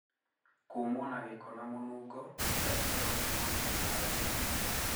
Kũmwo na gĩko na mũnungo gũkira ikero kuuma miena ya thiri.